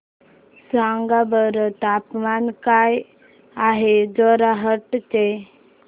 सांगा बरं तापमान काय आहे जोरहाट चे